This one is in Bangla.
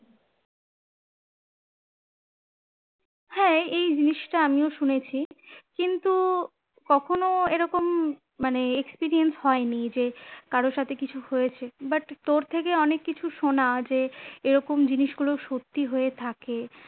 হ্যাঁ এই জিনিসটা আমিও শুনেছি, কিন্তু কখনো এরকম মানে experience হয়নি যে কারোর সাথে কিছু হয়েছে but তোর থেকে অনেক কিছু শোনা যে এরকম জিনিসগুলো সত্যি হয়ে থাকে